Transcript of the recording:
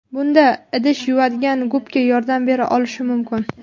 Bunda idish yuvadigan gubka yordam bera olishi mumkin.